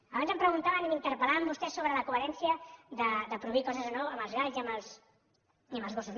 abans em preguntaven i m’interpel·laven vostès sobre la coherència de prohibir coses o no amb els galls i amb els gossos